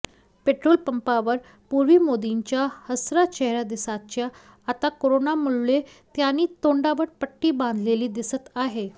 पेट्रोलपंपावर पूर्वी मोदींचा हसरा चेहरा दिसायचा आता कोरोनामुळे त्यांनी तोंडावर पट्टी बांधलेली दिसत आहे